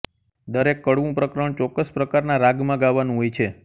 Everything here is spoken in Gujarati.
દરેક કડવું પ્રકરણ ચોક્કસ પ્રકારના રાગમાં ગાવાનું હોય છે